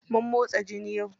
Mun motsa jiki yau.